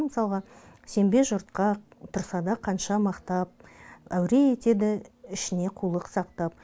мысалға сенбе жұртқа тұрса да қанша мақтап әуре етеді ішіне қулық сақтап